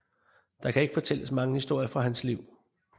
Der kan ikke fortælles mange historier fra hans liv